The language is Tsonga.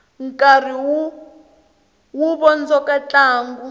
nkarhi wu vondzoka ntlangu